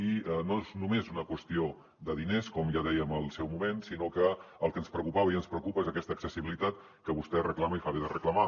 i no és només una qüestió de diners com ja dèiem al seu moment sinó que el que ens preocupava i ens preocupa és aquesta accessibilitat que vostè reclama i fa bé de reclamar